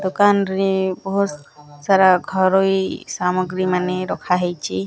ଦୋକାନ ରେ ବୋହୁତ ସାରା ଘରୋଇ ସାମଗ୍ରୀ ମାନେ ରଖା ହେଇଚି।